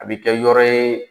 A bi kɛ yɔrɔ ye